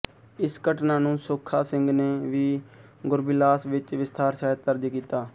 ਇਸ ਘਟਨਾ ਨੂੰ ਸੁੱਖਾ ਸਿੰਘ ਨੇ ਵੀ ਗੁਰਬਿਲਾਸ ਵਿਚ ਵਿਸਥਾਰ ਸਹਿਤ ਦਰਜ ਕੀਤਾ ਹੈ